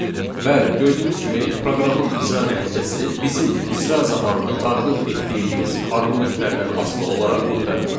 Bəli, gördüyümüz kimi proqramın icra nəticəsi bizim icra zamanı daxil etdiyimiz arqumentlərdən asılı olaraq müxtəlif olur.